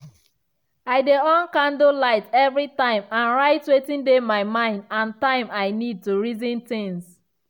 i dey on candle light every time and write wetin dey my mind and time i need to reason things.